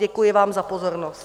Děkuji vám za pozornost.